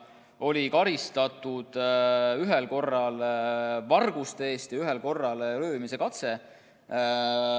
Teda oli karistatud ühel korral varguste eest ja ühel korral röövimise katse eest.